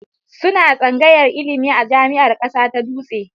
Suna tsangayar ilimi a Jami'ar Ƙasa ta Dutse